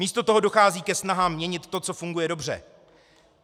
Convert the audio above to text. Místo toho dochází ke snahám měnit to, co funguje dobře.